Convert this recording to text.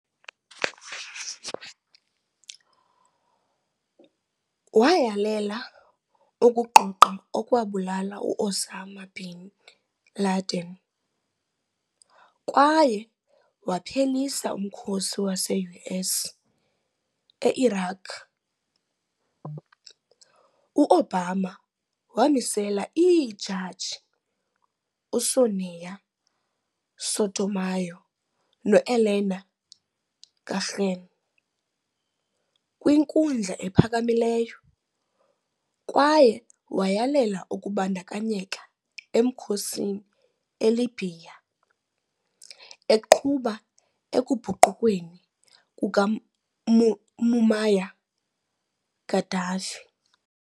Wayalela ukugqogqa okwabulala u-Osama bin Laden kwaye waphelisa umkhosi wase-US e-Iraq. U-Obama wamisela iijaji uSonia Sotomayor no-Elena Kagan kwiNkundla ePhakamileyo, kwaye wayalela ukubandakanyeka emkhosini eLibya, eqhuba ekubhukuqweni kukaMuammar Gaddafi.